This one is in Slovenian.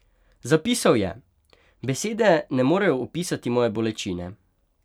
Zapisal je: "Besede ne morejo opisati moje bolečine.